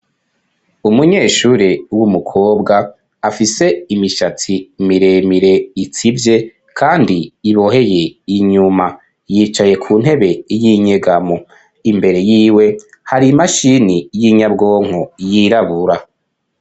Umunyeshuri w'umukobwa afise imishatsi miremire itsivye .kandi iboheye inyuma yicaye ku ntebe y'inyegamo .Imbere y'iwe hari imashini y'inyabwonko yirabura.